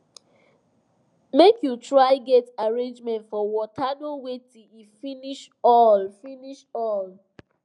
make u try get arrangement for water no wait till e finish all finish all